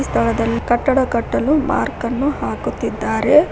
ಈ ಸ್ಥಳದಲ್ಲಿ ಕಟ್ಟಡ ಕಟ್ಟಲು ಮಾರ್ಕ್ ಅನ್ನು ಹಾಕುತ್ತಿದ್ದಾರೆ.